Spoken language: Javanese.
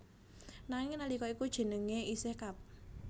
Nanging nalika iku jenenge isih Kab